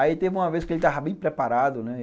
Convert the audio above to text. Aí teve uma vez que ele estava bem preparado, né?